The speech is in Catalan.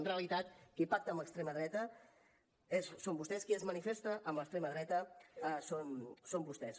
en realitat qui pacta amb l’extrema dreta són vostès qui es manifesta amb l’extrema dreta són vostès